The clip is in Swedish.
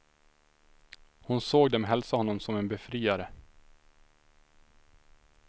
Hon såg dem hälsa honom som en befriare.